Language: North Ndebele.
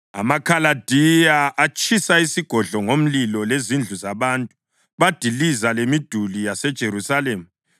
AmaKhaladiya atshisa isigodlo ngomlilo lezindlu zabantu, badiliza lemiduli yeJerusalema.